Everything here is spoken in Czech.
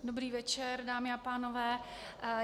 Dobrý večer, dámy a pánové.